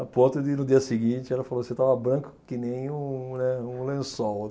A ponto de no dia seguinte, ela falou, você estava branco que nem um eh um lençol.